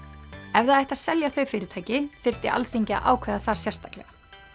ef það ætti að selja þau fyrirtæki þyrfti Alþingi að ákveða það sérstaklega